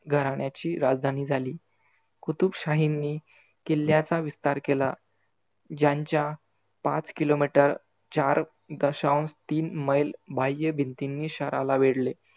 घराण्याची राजधानी झाली. कुतुब शाहींनी किल्ल्याचा विस्तार केला. ज्यांच्या पाच KILOMETER चार दशांष तीन मैल बहाय्य भिंतींनी शहराला वेढले.